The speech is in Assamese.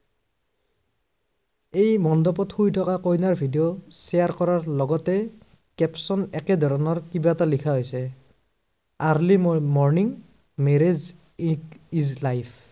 এই মণ্ডপত শুই থকাৰ কইনাৰ video share কৰাৰ লগতে, caption একেধৰণৰ কিবা এটা লিখা হৈছে early morning marriage is it life